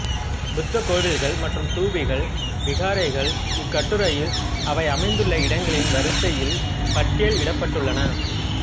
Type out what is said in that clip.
புத்தக்கோவில்கள் மற்றும் தூபிகள் விகாரைகள் இக்கட்டுரையில் அவை அமைந்துள்ள இடங்களின் வரிசையில் பட்டியல் இடப்பபட்டுள்ளன